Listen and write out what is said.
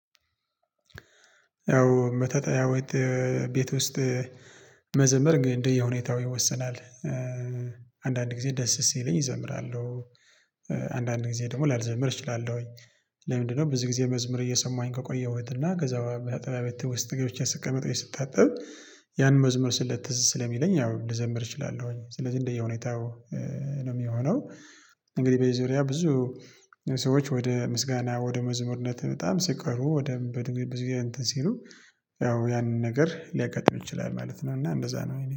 ያው መታጠቢያ ወት ቤት ውስጥ መዘመር ግን እንደየሁኔታው ይወስናል። አንዳንድ ጊዜ ደስ ሲለኝ እዘምራለሁ። አንዳንድ ጊዜ ደግሞ ላልዘምር እችላለሁኝ። ለምንድነው? ብዙ ጊዜ መዝመር እየሰማኝ ከቆየሁት እና ከዛ በተጠባባይ ትውስት ገብቼ ስቀመጥ ወይ ስታጠብ ያን መዝመር ስለተዝሰለኝ ያው ልዘምር እችላለሁኝ ስለዚህ እንደየሁኔታው ነው የሚሆነው። እንግዲህ በዚህ ዙሪያ ብዙ ሰዎች ወደ ምስጋና ወደ መዝሙርነት በጣም ሲቀርቡ ወደ በዚህ ዙሪያ ሲሉ ያው ያንን ነገር ሊያጋጥም ይችላል ማለት ነው። እና እንደዛ ነው የኔ